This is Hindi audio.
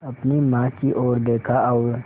अपनी माँ की ओर देखा और